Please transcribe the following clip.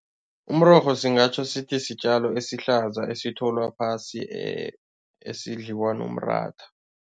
Umrorho singatjho sithi sitjalo esihlaza esitholwa phasi esidliwa nomratha.